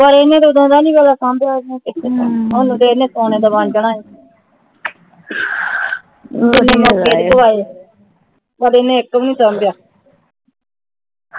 ਪਰ ਇਹਨੇ ਸੋਹਣੇ ਦੇ ਪਰ ਹਨ ਇਕ ਭੀ ਨਹੀਂ ਸਾਂਭਿਆ